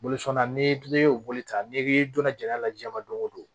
Bolo sɔn na n'i y'o boli ta n'i k'i donna jala lajaba don o don